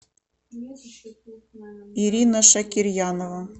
ирина шакирьянова